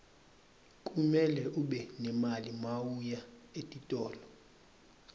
kumele ube nemali mawuya etitolo